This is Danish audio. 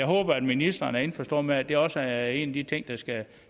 håber ministeren er indforstået med at det også er en af de ting der skal